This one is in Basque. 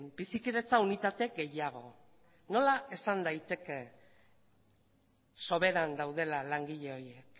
bizikidetza unitate gehiago nola esan daiteke soberan daudela langile horiek